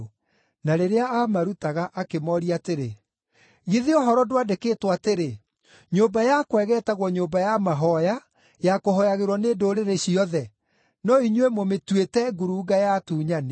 Na rĩrĩa aamarutaga, akĩmooria atĩrĩ, “Githĩ ũhoro ndwandĩkĩtwo atĩrĩ, “ ‘Nyũmba yakwa ĩgeetagwo nyũmba ya mahooya ya kũhooyagĩrwo nĩ ndũrĩrĩ ciothe’ ? No inyuĩ mũmĩtuĩte ‘ngurunga ya atunyani’.”